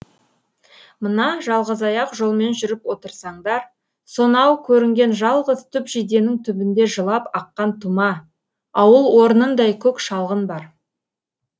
мына жалғызаяқ жолмен жүріп отырсаңдар сонау көрінген жалғыз түп жиденің түбінде жылап аққан тұма ауыл орнындай көк шалғын бар